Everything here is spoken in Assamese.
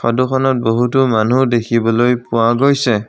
ফটোখনত বহুতো মানুহ দেখিবলৈ পোৱা গৈছে।